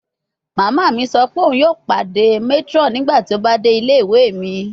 Mama mi sọ pe oun yoo pade matron nigbati o ba de ile-iwe mi